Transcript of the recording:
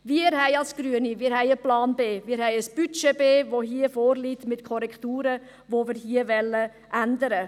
Wir als Grüne haben einen Plan B. Wir haben ein Budget B, das hier mit Korrekturen vorliegt, was wir hier ändern wollen.